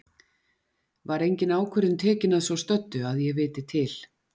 Var engin ákvörðun tekin að svo stöddu, að ég viti til.